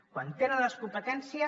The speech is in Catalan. quan tenen les competències